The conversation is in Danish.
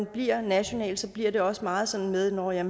bliver nationalt bliver det også meget sådan med nå ja